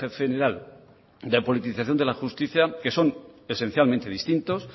general de politización de la justicia que son esencialmente distintos